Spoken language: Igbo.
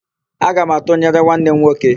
Aga m atụnyere nwanne m nwoke.